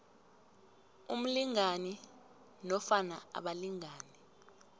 umlingani nofana abalingani